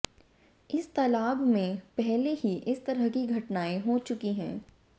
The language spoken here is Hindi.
इस तालाब में पहले ही इस तरह की घटनाएं हो चुकी हैं